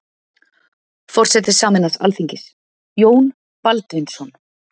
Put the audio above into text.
Forseti sameinaðs alþingis: Jón Baldvinsson.